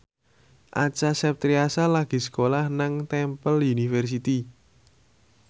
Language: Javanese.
Acha Septriasa lagi sekolah nang Temple University